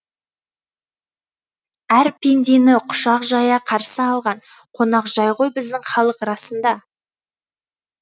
әр пендені құшақ жая қарсы алған қонақжай ғой біздің халық расында